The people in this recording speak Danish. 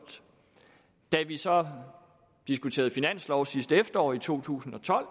da vi så diskuterede finanslov sidste efterår i to tusind og tolv